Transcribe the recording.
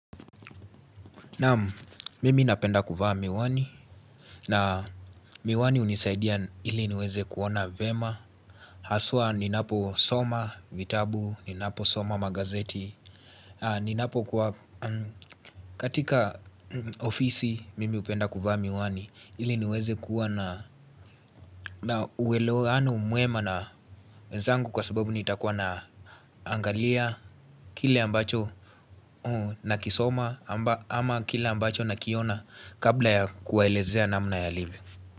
Naam, mimi napenda kuvaa miwani na miwani hunisaidia ili niweze kuona vyema Haswa ninaposoma, vitabu, ninaposoma magazeti Ninapo kuwa, katika ofisi mimi hupenda kuvaa miwani ili niweze kuwa a uelewaano mwema na wenzangu kwa sababu nitakuwa naangalia Kile ambacho nakisoma ama kile ambacho nakiona kabla ya kuwaelezea namna yalivyo.